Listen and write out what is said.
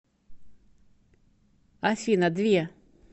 афина две